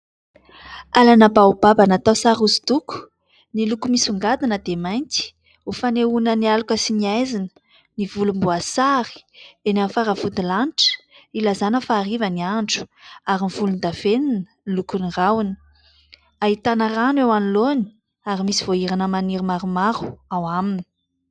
Alana " baobaba "natao sary hosodoko, ny loko misongadina dia mainty : ho fanehoana ny aloka sy ny aizina, ny volomboasary eny amin'ny faravodilanitra : ilazana fa hariva ny andro ary ny volondavenina ny lokon'ny rahona ; ahitana rano eo anoloany ary misy voahirana maniry maromaro ao aminy.